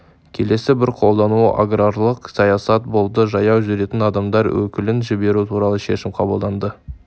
келесі бір қолдауы аграрлық саясат болды жаяу жүретін адамдар өкілін жіберу туралы шешім қабылданды